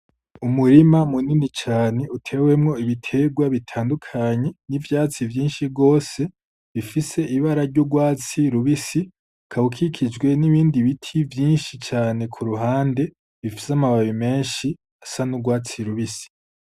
Umurima munini cane, utewemwo ibitegwa bitandukanye n'ivyatsi vyinshi gose; bifise ibara ry'urwatsi rubisi. Ukaba ukikijwe n'ibindi biti vyinshi cane ku ruhande; bifise amababi menshi asa n'urwatsi rubisi.